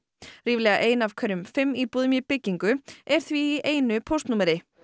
ríflega ein af hverjum fimm íbúðum í byggingu er því í einu póstnúmeri